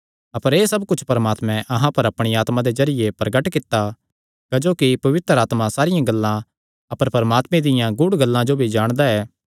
अपर एह़ सब कुच्छ परमात्मैं अहां पर अपणिया आत्मा दे जरिये प्रगट कित्ता क्जोकि पवित्र आत्मा सारियां गल्लां अपर परमात्मे दियां गूढ़ गल्लां जो भी जाणदा ऐ